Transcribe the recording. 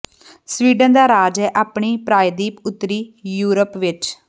Sweden ਦਾ ਰਾਜ ਹੈ ਆਪਣੀ ਪ੍ਰਾਇਦੀਪ ਉੱਤਰੀ ਯੂਰਪ ਵਿੱਚ